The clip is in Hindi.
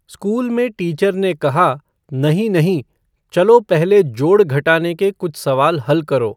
स्कूल में टीचर ने कहा, "नहीं नहीं, चलो पहले जोड़ घटाने के कुछ सवाल हल करो।"